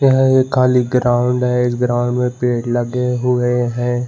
यह एक खली ग्राउंड है इस ग्राउंड में पेड़ लगे हुए है।